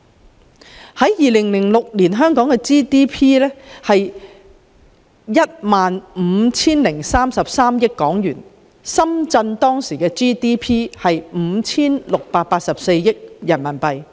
到了2020年，香港的 GDP 是 27,107 億元，深圳的 GDP 卻已增長3倍至 27,670 億元人民幣。